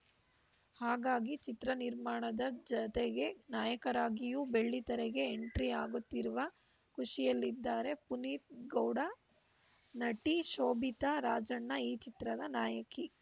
ಹಾಗಾಗಿ ಚಿತ್ರ ನಿರ್ಮಾಣದ ಜತೆಗೆ ನಾಯಕರಾಗಿಯೂ ಬೆಳ್ಳಿತೆರೆಗೆ ಎಂಟ್ರಿ ಆಗುತ್ತಿರುವ ಖುಷಿಯಲ್ಲಿದ್ದಾರೆ ಪುನೀತ್‌ ಗೌಡ ನಟಿ ಶೋಭಿತಾ ರಾಜಣ್ಣ ಈ ಚಿತ್ರದ ನಾಯಕಿ